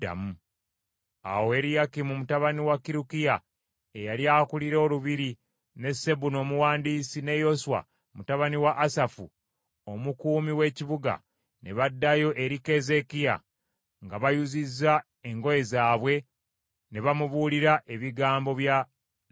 Awo Eriyakimu mutabani wa Kirukiya eyali akulira olubiri ne Sebuna Omuwandiisi ne Yoswa mutabani wa Asafu Omukuumi w’ebiwandiiko, ne baddayo eri Keezeekiya nga bayuzizza engoye zaabwe, ne bamubuulira ebigambo bya Labusake.